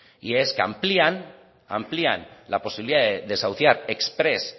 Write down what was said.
y es que amplían la posibilidad de desahuciar exprés